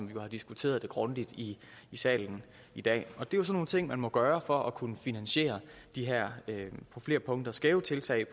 vi jo har diskuteret grundigt i salen i dag og det er jo sådan nogle ting man må gøre for at kunne finansiere de her på flere punkter skæve tiltag